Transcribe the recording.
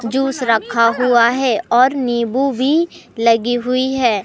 Juice रखा हुआ है और नींबू भी लगी हुई है।